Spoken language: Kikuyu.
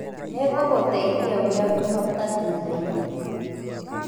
Nĩngũgũteĩthĩa ũria ngũhota thũthaĩnĩ.